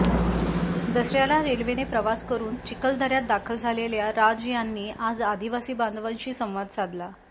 दसऱ्याला रेल्वेने प्रवास करुन चिखलदऱ्यात दाखल झालेल्या राज यांनी आज आदिवासी बांधवांशी संवाद साधला